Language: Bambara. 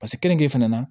Pasiki kenige fana na